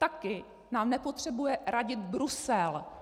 Také nám nepotřebuje radit Brusel.